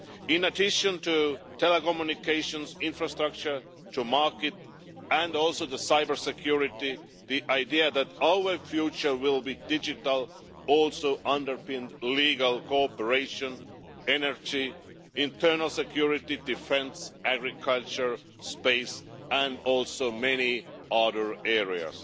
In addition to telecommunications, infrastructure, markets and cyber security, the idea that our future will be digital also underpinned legal cooperation, energy, internal security, defence, agriculture, space and many other areas.